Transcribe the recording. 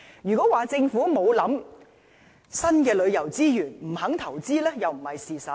如果說政府沒有考慮新的旅遊資源，不肯投資，又不是事實。